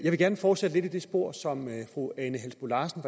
vil gerne fortsætte lidt i det spor som fru ane halsboe larsen